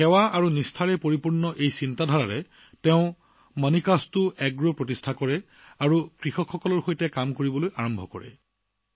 সেৱা আৰু ভক্তিৰে ভৰা এই চিন্তাৰে তেওঁলোকে মণিকাস্তু এগ্ৰো প্ৰতিষ্ঠা কৰি কৃষকৰ সৈতে কাম কৰিবলৈ আৰম্ভ কৰে